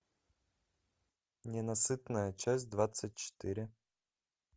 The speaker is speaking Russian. ненасытная часть двадцать четыре